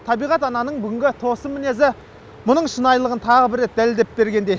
табиғат ананың бүгінгі тосын мінезі мұның шынайлығын тағы бір рет дәлелдеп бергендей